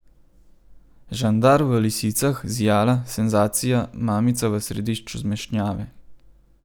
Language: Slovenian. Žandar v lisicah, zijala, senzacija, mamica v središču zmešnjave.